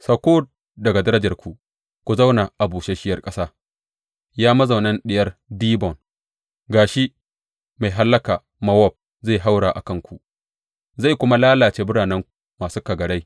Sauko daga darajarku ku zauna a busasshiyar ƙasa, Ya mazaunan Diyar Dibon, gama shi mai hallaka Mowab zai haura a kanku zai kuma lalace biranenku masu kagarai.